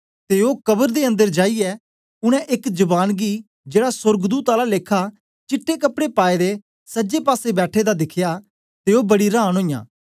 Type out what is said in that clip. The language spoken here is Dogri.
ते ओ कबरां दे अन्दर जाईयै उनै एक जवान गी जेड़ा सोर्गदूत आला लेखा चिट्टे कपड़े पाएदे सजे पासे बैठे दे दिखया ते ओ बड़ी रांन ओईयां